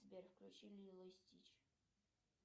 сбер включи лило и стич